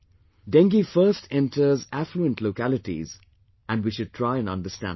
Dengue first enters affluent localities and we should try and understand it